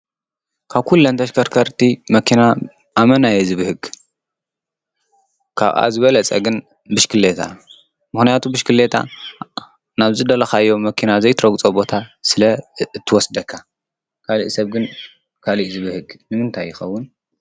ካብ ኲለን ተሽከርከርቲ መኪና ኣመና እየ ዝብህግ። ካብኣ ዝበለጸ ግን ብሽክሌታ ምክንያቱ ብሽክሌታ ናብ ዝደለኻዮ መኪና ዘይትረጕጾ ቦታ ስለ እትወስደካ ካልእ ሰብ ግን ካልእ እዩ ዝብህግ ንምንታይ ይኸውን?